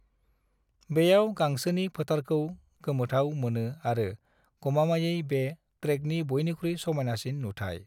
बेयाव गांसोनि फोथारखौ गोमोथाव मोनो आरो गमामायै बे ट्रेकनि बयनिख्रुइ समायनासिन नुथाय।